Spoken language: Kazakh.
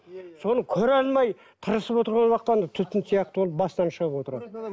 соны көре алмай тырысып отырған уақытта түтін сияқты ол бастан шығып отырады